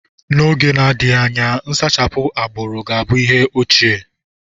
N'oge na-adịghị anya, nsachapụ agbụrụ ga-abụ ihe ochie.